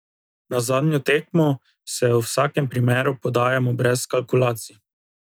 Na zadnjo tekmo se v vsakem primeru podajamo brez kalkulacij.